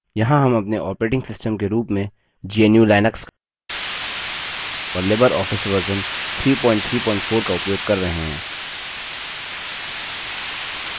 यहाँ हम अपने operating system के रूप में gnu/लिनक्स और libreoffice version 334 का उपयोग कर रहे हैं